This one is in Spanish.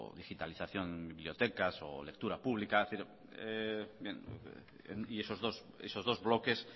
digitalización de bibliotecas o lectura pública y esos dos bloques